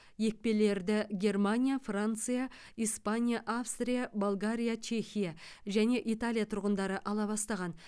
екпелерді германия франция испания австрия болгария чехия және италия тұрғындары ала бастаған